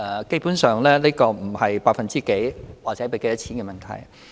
基本上，這不是百分之幾或多少錢的問題。